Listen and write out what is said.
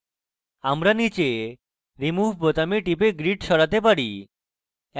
আমরা নীচে remove বোতামে টিপে grid সরাতে পারি